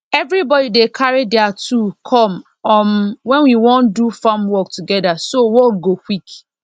everybody dey carry their tool come um when we wan do farm work together so work go quick